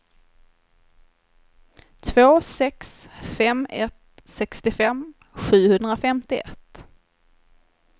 två sex fem ett sextiofem sjuhundrafemtioett